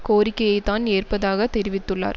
கோரிக்கையைத் தான் ஏற்பதாக தெரிவித்துள்ளார்